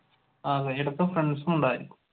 ആഹ് ഒരിടക്ക് ഫ്രണ്ട്സുമുണ്ടായിരുന്നു.